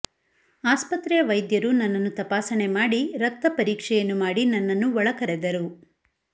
ಆಸ್ಪತ್ರೆಯ ವೈದ್ಯರು ನನ್ನನ್ನು ತಪಾಸಣೆ ಮಾಡಿ ರಕ್ತ ಪರೀಕ್ಷೆಯನ್ನು ಮಾಡಿ ನನ್ನನು ಒಳಕರೆದರು